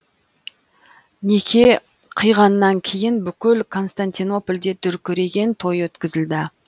неке қиғаннан кейін бүкіл константинопольде дүркіреген той өткізілді